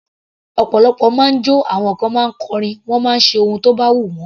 Ọ̀pọ̀lọpọ̀ ma ń jọ́, àwọn kan ma ń kọrin, wọ́n máa ń ṣe ohun tó bá wù wọ́n.